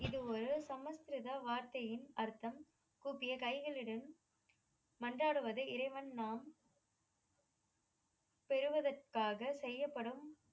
இது ஒரு சம்ஸ்கிருத வார்த்தையின் அர்த்தம் கூப்பிய கைகளுடன் மன்றாடுவது இறைவன் நாம் பெறுவதற்காக செய்யப்படும்